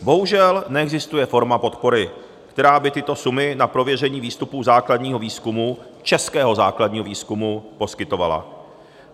Bohužel neexistuje forma podpory, která by tyto sumy na prověření výstupů základního výzkumu - českého základního výzkumu - poskytovala.